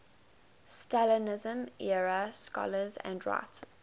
stalinism era scholars and writers